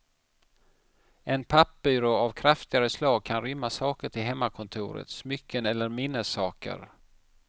En pappbyrå av ett kraftigare slag kan rymma saker till hemmakontoret, smycken eller minnessaker.